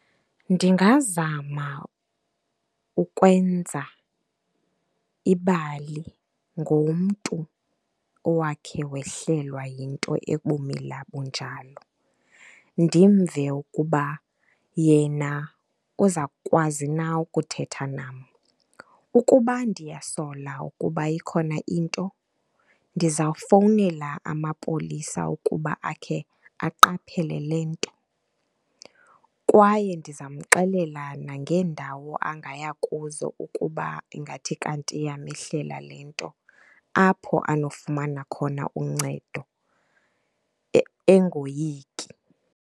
Ndingazama ukwenza ibali ngomntu owakhe wehlelwa yinto ebumila bunjalo, ndimve ukuba yena uzawukwazi na ukuthetha nam. Ukuba ndiyakusola ukuba ikhona into ndizawufowunela amapolisa ukuba akhe aqaphele le nto, kwaye ndizawumxelela nangendawo angaya kuzo ukuba ingathi kanti yamehlela le nto apho anofumana khona uncedo engoyiki.